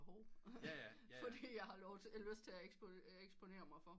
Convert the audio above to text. For det jeg har lyst til at eksponere mig for